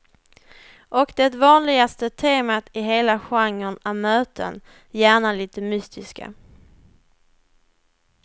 Och det vanligaste temat i hela genren är möten, gärna lite mystiska.